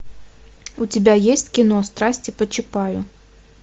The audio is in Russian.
у тебя есть кино страсти по чапаю